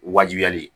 Wajibiyali